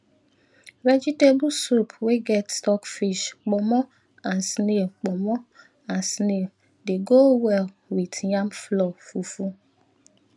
vegetable soup wey get stockfish pomo and snail pomo and snail dey go well with yam flour fufu